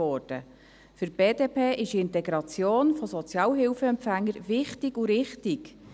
Für die BDP ist die Integration von Sozialhilfeempfängern wichtig und richtig.